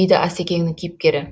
дейді асекеңнің кейіпкері